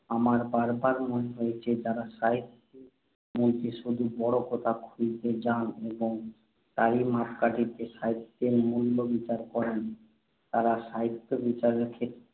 আমার বার বার মনে হয়েছে, যাঁরা সাহিত্যের মধ্যে শুধু বড় কথা খুঁজতে যান এবং তারই মাপকাঠিতে সাহিত্যের মূল্য বিচার করেন, তাঁরা সাহিত্যবিচারের ক্ষেত্রে